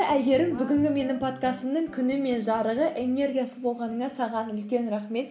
әйгерім бүгінгі менің подкастымның күні мен жарығы энергиясы болғаныңа саған үлкен рахмет